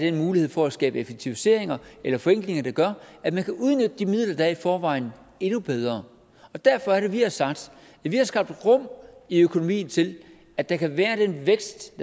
af mulighed for at skabe effektiviseringer eller forenklinger der gør at man kan udnytte de midler der i forvejen endnu bedre derfor er det vi har sagt vi har skabt rum i økonomien til at der kan være den vækst